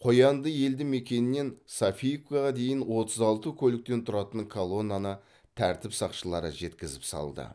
қоянды елді мекенінен софиевкаға дейін отыз алты көліктен тұратын колонаны тәртіп сақшылары жеткізіп салды